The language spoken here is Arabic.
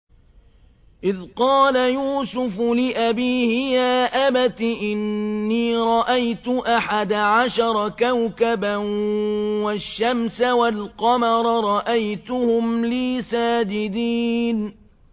إِذْ قَالَ يُوسُفُ لِأَبِيهِ يَا أَبَتِ إِنِّي رَأَيْتُ أَحَدَ عَشَرَ كَوْكَبًا وَالشَّمْسَ وَالْقَمَرَ رَأَيْتُهُمْ لِي سَاجِدِينَ